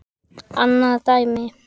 Annað dæmi.